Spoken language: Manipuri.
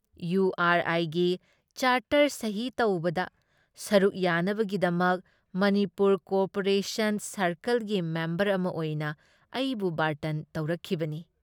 ꯏꯌꯨ ꯑꯥꯔ ꯑꯥꯏꯒꯤ ꯆꯥꯔꯇꯔ ꯁꯍꯤ ꯇꯧꯕꯗ ꯁꯔꯨꯛ ꯌꯥꯅꯕꯒꯤꯗꯃꯛ ꯃꯅꯤꯄꯨꯔ ꯀꯣꯑꯣꯄꯔꯦꯁꯟ ꯁꯥꯔꯀꯜꯒꯤ ꯃꯦꯝꯕꯔ ꯑꯃ ꯑꯣꯏꯅ ꯑꯩꯕꯨ ꯕꯥꯔꯇꯟ ꯇꯧꯔꯛꯈꯤꯕꯅꯤ ꯫